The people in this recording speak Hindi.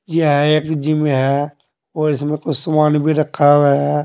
यह एक जिम है और इसमें कुछ सामान भी रखा हुआ है।